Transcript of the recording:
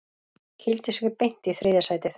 Kýldi sig beint í þriðja sætið